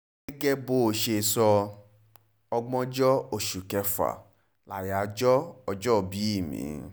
gẹ́gẹ́ bó ṣe sọ ọgbọ̀njọ oṣù kẹfà láyájọ́ ọjọ́òbí mi